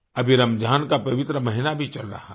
अभी रमजान का पवित्र महीना भी चल रहा है